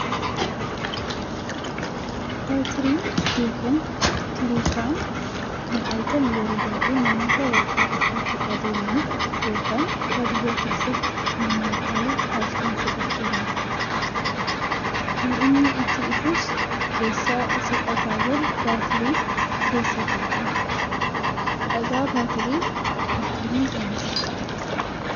Baatiriin yookiin tiriikaan kan argamu yeroo baay'ee namoota bakkaa bakkatti adeemaniif yookaan baadiyyaa keessatti manaan ala halkan socho'aniifidha. Kan inni ittiin ifus keessa isaa dhagaawwan baatiriin keessa kaa'uuni. Dhagaa baatirii akkamiin oomishuu?